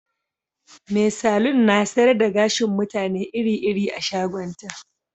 Mai salo na sayar da gashin mutane iri-iri a shagonta